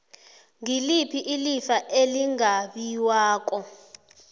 ngiliphi ilifa elingabiwako